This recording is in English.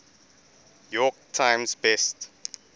york times best